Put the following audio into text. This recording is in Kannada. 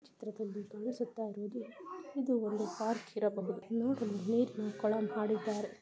ಚಿತ್ರದಲ್ಲಿ ತೋರಿಸುತ್ತಾ ಇರುವುದು ಇದು ಒಂದು ಪಾರ್ಕ್ ಇರಬಹುದು. ನೋಡೋಣ ನೀರಿನ ಕೋಳ--